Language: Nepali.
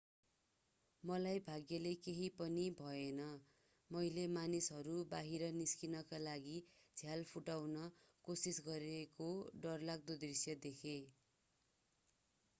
मलाई भाग्यले केहि पनि भएन मैले मानिसहरू बाहिर निस्कनका लागि झ्याल फुटाउन कोशिस गरेको डरलाग्दो दृश्य देखे